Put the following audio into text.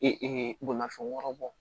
Ee bolimafɛn wɔɔrɔ bɔ